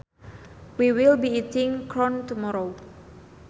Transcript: We will be eating corn tomorrow